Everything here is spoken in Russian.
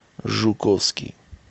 жуковский